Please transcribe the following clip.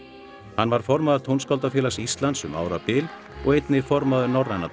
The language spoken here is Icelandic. hann var formaður Tónskáldafélags Íslands um árabil og einnig formaður Norræna